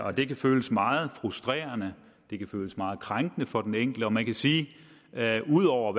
og det kan føles meget frustrerende og det kan føles meget krænkende for den enkelte og man kan sige at ud over